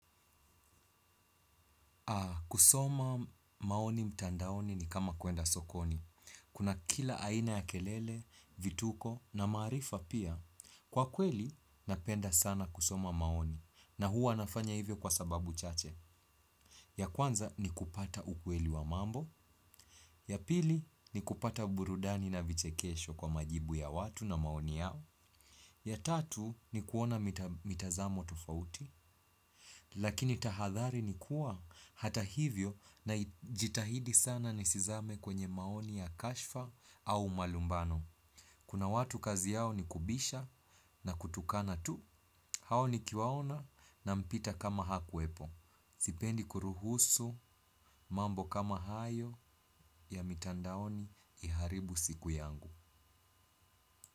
Kusoma maoni mtandaoni ni kama kuenda sokoni. Kuna kila aina ya kelele, vituko na maarifa pia. Kwa kweli napenda sana kusoma maoni na huwa nafanya hivyo kwa sababu chache. Ya kwanza ni kupata ukweli wa mambo, ya pili ni kupata burudani na vichekesho kwa majibu ya watu na maoni yao, ya tatu ni kuona mita mitazamo tofauti, lakini tahadhari ni kuwa hata hivyo najitahidi sana nisizame kwenye maoni ya kashfa au malumbano. Kuna watu kazi yao ni kubisha na kutukana tu, hao nikiwaona na mpita kama hakuepo. Sipendi kuruhusu mambo kama hayo ya mitandaoni iharibu siku yangu.